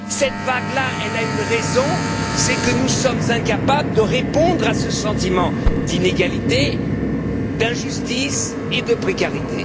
Cette vague là a une raison c'est que nous sommes incapables de répondre à ce sentiment d'inégalité, d'injustice et de précarité.